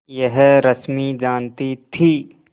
यह रश्मि जानती थी